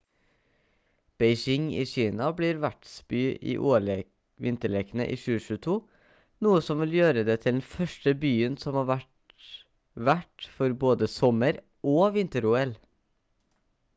beijing i kina blir vertsby i ol-vinterlekene i 2022 noe som vil gjøre det til den første byen som har vært vert for både sommer og vinter-ol